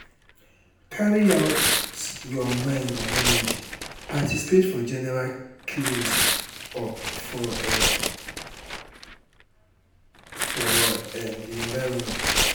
carry out um your mind and energy participate for general cleans um ups for um ups for um di environment